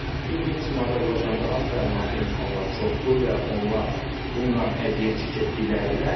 Yəni bildiyimiz kimi Azərbaycanda az təminatlı insanlar çoxdur və onlar bundan əziyyət çəkə bilərlər.